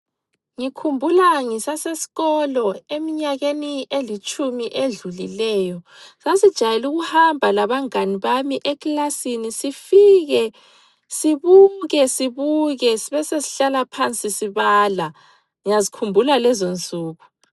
Ngikhumbula ngisasesikolo emnyakeni elitshumi edlulileyo sasijayele ukuhamba labangane bami eklasini sifike sibuke sibuke sibesesihlala phansi sibala. Ngiyazikhumbula lezo nsuku.